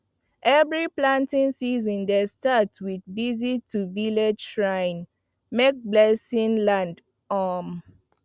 every planting season dey start with visit to village shrine make blessing land um